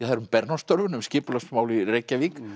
Bernhöftstorfuna um skipulagsmál í Reykjavík